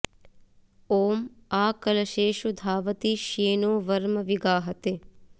ॐ आ क॒लशे॑षु धावति श्ये॒नो वर्म॒ वि गा॑हते